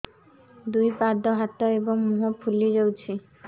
ଦୁଇ ପାଦ ହାତ ଏବଂ ମୁହଁ ଫୁଲି ଯାଉଛି